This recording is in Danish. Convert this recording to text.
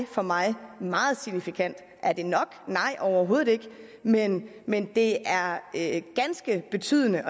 for mig meget signifikant er det nok nej overhovedet ikke men men det er er ganske betydende